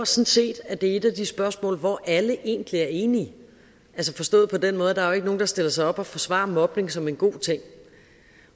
set at det er et af de spørgsmål hvor alle egentlig er enige forstået på den måde at der er nogen der stiller sig op og forsvarer mobning som en god ting